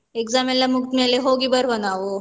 Exam ಎಲ್ಲ ಮುಗ್ದಾದ್ಮೇಲೆ ಹೋಗಿ ಬರುವ ನಾವು.